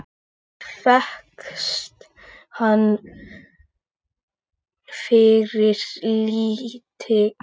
Og fékkst hana fyrir lítið!